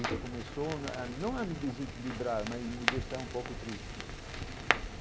Isso começou a não a me desequilibrar, mas me deixar um pouco triste.